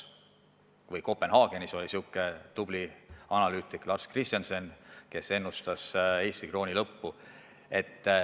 Kopenhaagenis oli tubli analüütik Lars Kristiansen, kes ennustas Eesti krooni lõppu.